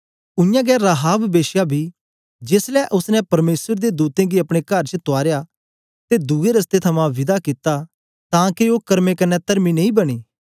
उयांगै राहाब वेश्या बी जेसलै ओसने परमेसर दे दूतें गी अपने कर च तुआरया ते दुए रस्ते थमां विदा कित्ता तां के ओ कर्मे कन्ने तर्मी नेई बनी